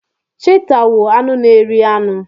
Chiita wụ anụ n'eri anụ.